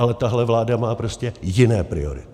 Ale tahle vláda má prostě jiné priority.